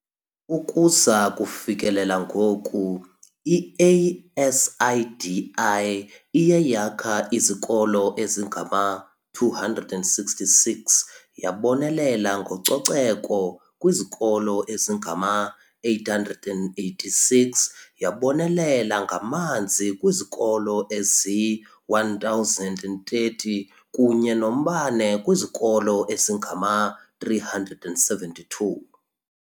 Ukuza kufikelela ngoku, i-ASIDI iye yakha izikolo ezingama-266, yabonelela ngococeko kwizikolo ezingama-886, yabonelela ngamanzi kwizikolo ezili-1 030 kunye nombane kwizikolo ezingama-372.